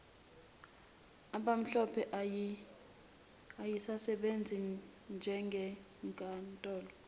abamhlophe eyayisebenza njengenkantolo